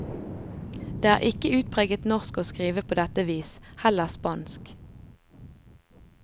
Det er ikke utpreget norsk å skrive på dette vis, heller spansk.